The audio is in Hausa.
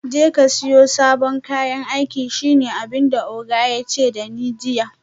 Jeka siyo sabon kayan aiki shine abinda oga yace dani jiya